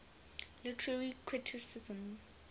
literary criticism